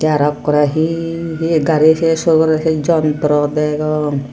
aro okko rey he he gari se surgore de jontro degong.